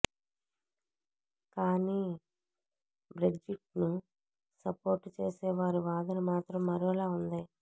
కానీ బ్రెగ్జిట్ను సపోర్ట్ చేసే వారి వాదన మాత్రం మరోలా ఉంది